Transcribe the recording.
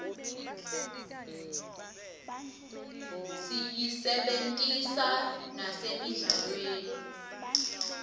siyisebentisa nasemidlalweni